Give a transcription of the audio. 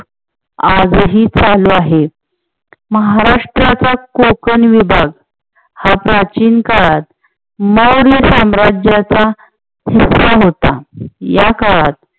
आज ही चालू आहे. महाराष्ट्राचा कोकण विभाग हा प्राचीन काळात मौर्य साम्राज्याचा हिस्सा होता. या काळात